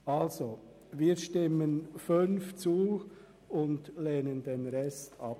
Somit stimmen wir dem Punkt 5 zu und lehnen den Rest ab.